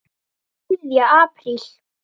ÞRIÐJA APRÍL